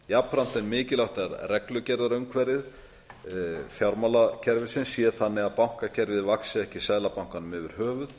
jafnframt er mikilvægt að reglugerðarumhverfi fjármálakerfisins sé þannig að bankakerfið vaxi ekki seðlabankanum yfir höfuð